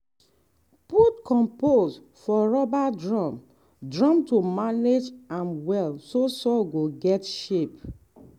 put compost for rubber drum drum to manage am well so soil go get shape.